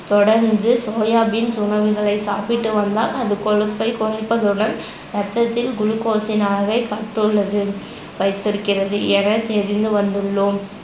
தொடர்ந்து soya beans உணவுகளை சாப்பிட்டு வந்தால் அது கொழுப்பை குறைப்பதுடன் ரத்தத்தில் glucose ன் அளவை கட்டுள்ளது வைத்திருக்கறது என தெரிந்து வந்துள்ளோம்